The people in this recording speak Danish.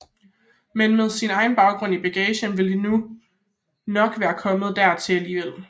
Men med sin egen baggrund i bagagen ville det nu nok være kommet dertil alligevel